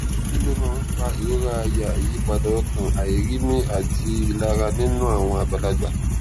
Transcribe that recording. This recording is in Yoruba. kí ló máa ń fa ìrora àyà ìyípadà ọkàn àìrími àti ìlara nínú àwọn àgbàlagbà